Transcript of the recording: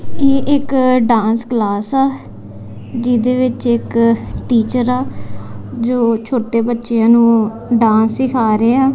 ਇਹ ਇੱਕ dance class ਹੈ ਜਿਹਦੇ ਵਿੱਚ ਇੱਕ ਟੀਚਰ ਆ ਜੋ ਛੋਟੇ ਬਚੇਆਂ ਨੂੰ ਡਾਂਸ ਸਿਖਾ ਰਿਆ।